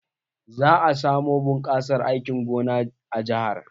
Za a samu bunkasar aikin gona a jahar.